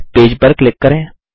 page पर click करें